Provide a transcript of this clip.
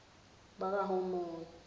bakahamoni